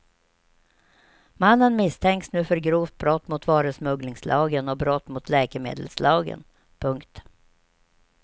Mannen misstänks nu för grovt brott mot varusmugglingslagen och brott mot läkemedelslagen. punkt